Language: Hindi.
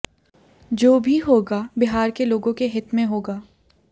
जो भी होगा बिहार के लोगों के हित में होगा